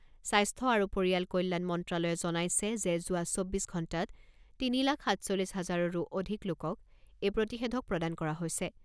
স্বাস্থ্য আৰু পৰিয়াল কল্যাণ মন্ত্ৰালয়ে জনাইছে যে যোৱা চৌব্বিছ ঘণ্টাত তিনি লাখ সাতচল্লিছ হাজাৰৰো অধিক লোকক এই প্ৰতিষেধক প্ৰদান কৰা হৈছে।